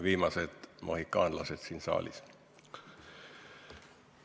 Viimased mohikaanlased siin saalis!